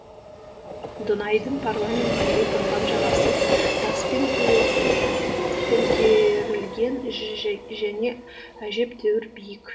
дунайдың парламент үйі тұрған жағасы таспен көмкерілген және әжептәуір биік